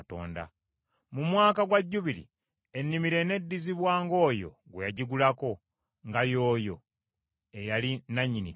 Mu mwaka gwa Jjubiri, ennimiro eneddizibwanga oyo gwe yagigulako, nga y’oyo eyali nannyini ttaka.